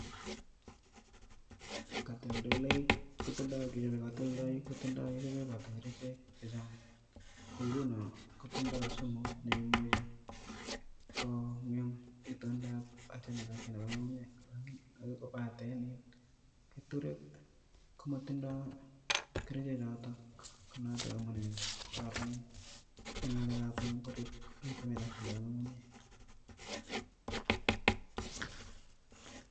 katoldoloik komoibotii kerichek chechang, ko ngunon kotindo sumu neimuchi kongem kororonindab ngungunyek. kobaten keturek komotindo kerichek choton, ko notok amune sikokororonen keeturek eng ngungunyek